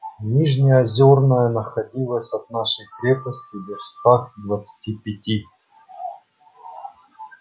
нижнеозёрная находилась от нашей крепости вёрстах в двадцати пяти